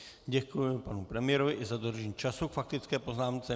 Děkuji panu premiérovi i za dodržení času k faktické poznámce.